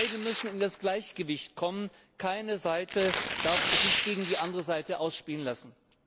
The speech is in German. Beide müssen in das Gleichgewicht kommen, keine Seite darf sich gegen die andere Seite ausspielen lassen.